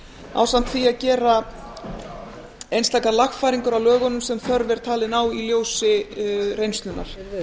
ásamt því að gera einstakar lagfæringar á lögunum sem þörf er talin á í ljósi reynslunnar